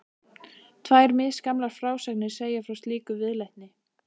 Tvær misgamlar frásagnir segja frá slíkri viðleitni.